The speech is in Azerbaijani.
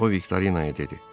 O Viktorinaya dedi: